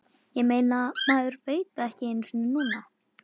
Ég meina, maður veit það ekki einu sinni núna.